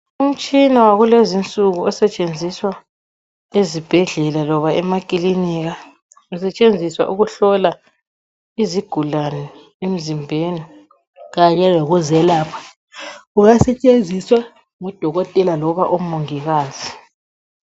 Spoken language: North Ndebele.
Umtshina wakulezi insuku osetshenziswa ezibhedlela loba emakilinika, usetshenziswa ukuhlola izigulane emizimbeni kanye lokuzelapha. Ungasetshenziswa ngudokotela loba omongikazi.